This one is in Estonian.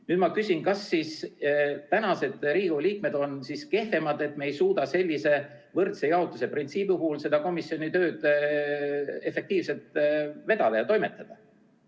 Nüüd ma küsin, kas praegused Riigikogu liikmed on siis kehvemad, et me ei suuda sellise võrdse jaotuse printsiibi puhul komisjoni tööd efektiivselt vedada ja toimetada.